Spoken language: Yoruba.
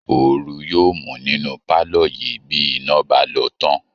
Ooru yóòmú nínú pálọ̀ yìí bí iná bá lọ tán